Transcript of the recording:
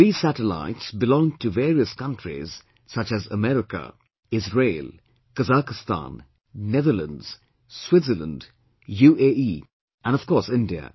These satellites belonged to various countries such as America, Israel, Kazakhstan, Netherlands, Switzerland, UAE and, of course, India